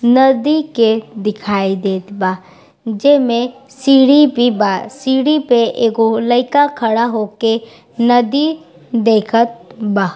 नदी के दिखाई देत बा जेमें सीढ़ी भी बा सीढ़ी पे एगो लइका खड़ा होके नदी देखत बा।